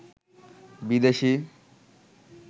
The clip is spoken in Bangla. বিদেশি